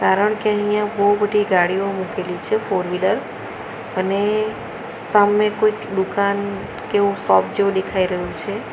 કારણ કે અહીંયા બહુ બધી ગાડીઓ મૂકેલી છે ફોરવીલર અને સામે કોઈક દુકાન કે એવું શોપ જેવું દેખાઈ રહ્યું છે.